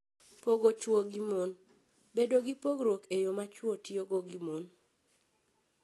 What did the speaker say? Pogo chwo gi mon: Bedo gi pogruok e yo ma chwo tiyogo gi mon.